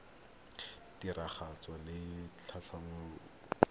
kelotlhoko ya tiragatso le tlhatlhobo